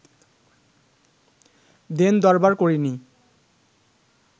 দেন-দরবার করিনি